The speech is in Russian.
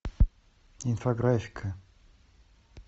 инфографика